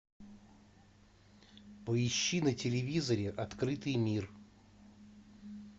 поищи на телевизоре открытый мир